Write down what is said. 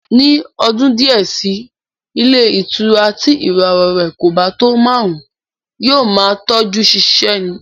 Ní ọdún díẹ̀ sí i ilé ìtura tí ìràwọ̀ rẹ̀ kò bá tọ́ márùn-ún, yóò máa tọ́jú ṣiṣẹ́ ni